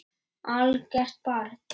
Algert barn.